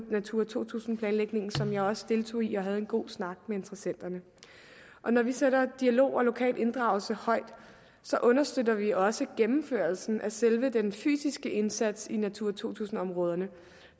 natura to tusind planlægningen som jeg også deltog i og havde en god snak med interessenterne når vi sætter dialog og lokal inddragelse højt understøtter vi også gennemførelsen af selve den fysiske indsats i natura to tusind områderne